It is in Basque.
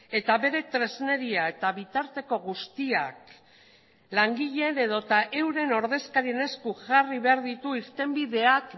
eta bere tresneria eta bitarteko guztiak langileen edota euren ordezkarien esku jarri behar ditu irtenbideak